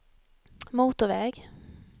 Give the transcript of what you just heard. motorväg